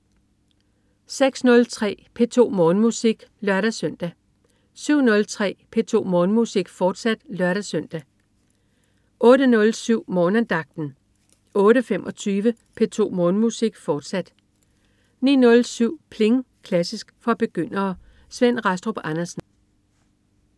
06.03 P2 Morgenmusik (lør-søn) 07.03 P2 Morgenmusik, fortsat (lør-søn) 08.07 Morgenandagten 08.25 P2 Morgenmusik, fortsat 09.07 Pling! Klassisk for begyndere. Svend Rastrup Andersen